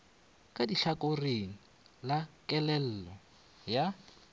ka tlhakoring la kellelo ya